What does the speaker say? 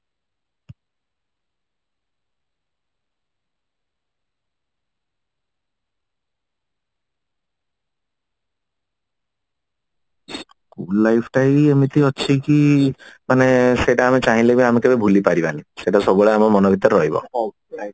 life ତା ହିଁ ଏମିତି ଅଛି କି ସେଇଟା ଆମେ ଚାହିଲେ ଆମେ ତାକୁ ଭୁଲି ପାରିବା ନି ସେଟା ସବୁବେଳେ ଆମ ମନ ଭିତରେ ରହିବ